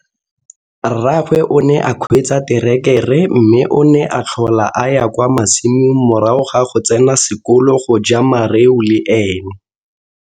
Rraagwe o ne a kgweetsa terekere mme o ne a tlhola a ya kwa masimong morago ga go tsena sekolo go ja mareo le ene.